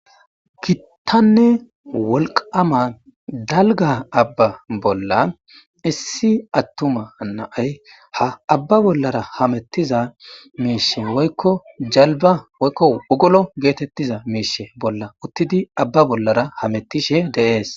Gittanne wolqama dalga abba bolla issi attuma na'ay ha abba bollara hamettiza miishe woykko jalba woykko ugolo geetettiza miishe bolla uttidi abba bollara hamettishe de'es